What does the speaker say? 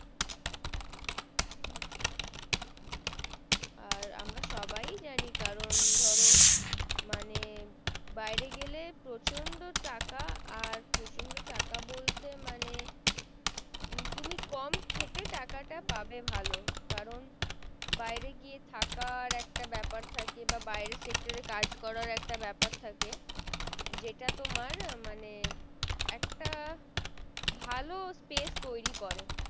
কারণ বাইরে গিয়ে থাকার একটা বেপার থাকে বা বাইরে sector এ কাজ করার একটা বেপার থাকে যেটা তোমার মানে একটা ভালো space তৈরী করে।